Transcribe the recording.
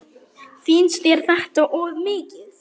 Finnst þér þetta of mikið?